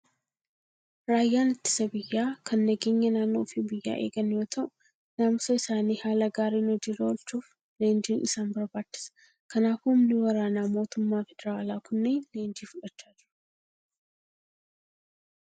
Raayyaan ittisa biyyaa kan nageenya naannoo fi biyyaa eegan yoo ta'u, naamusa isaanii haala gaariin hojii irra oolchuuf leenjiin isaan barbaachisa. Kanaafuu humni waraanaa mootummaa federaalaa kunneen leenjii fudhachaa jiru.